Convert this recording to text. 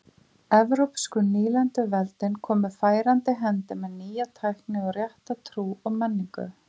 evrópsku nýlenduveldin komu færandi hendi með nýja tækni og rétta trú og menningu